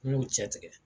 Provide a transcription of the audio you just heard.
N y'o cɛ tigɛ